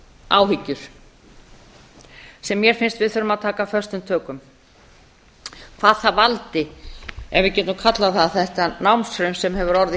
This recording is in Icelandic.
áhyggjur sem mér finnst við þurfa að taka föstum tökum hvað það valdi ef við getum kallað það þetta námshruni sem hefur orðið